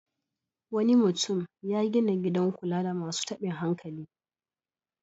Wani mutum ya gina gidan kula da masu taɓin hankali.